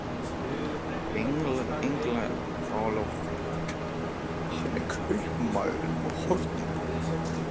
Englar og kúlur á trénu, sömuleiðis úr búskapartíð þeirra.